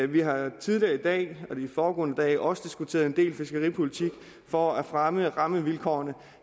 vi har tidligere i dag og de foregående dage også diskuteret en del fiskeripolitik for at fremme rammevilkårene